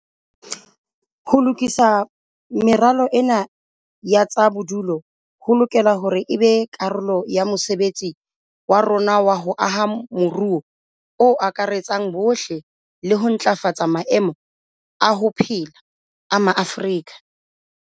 Ho lokisa meralo ena ya tsa bodulo ho lokela hore e be karolo ya mosebetsi wa rona wa ho aha moruo o akaretsang bohle le ho ntlafatsa maemo a ho phela a Maafrika.